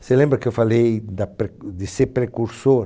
Você lembra que eu falei da pre de ser precursor?